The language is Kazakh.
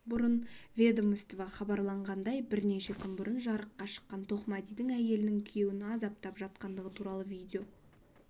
бұрын ведомство хабарлағандай бірнеше күн бұрын жарыққа шыққан тоқмәдидің әйелінің күйеуін азаптап жатқандығы туралы видео